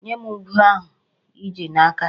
Nye m ube ahụ i ji n'aka.